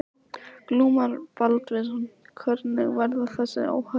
Glúmur Baldvinsson: Hvernig verða þessi óhöpp?